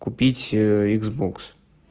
купить икс бокс